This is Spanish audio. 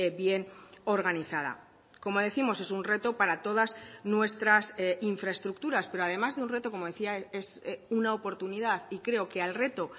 bien organizada como décimos es un reto para todas nuestras infraestructuras pero además de un reto como decía es una oportunidad y creo que al reto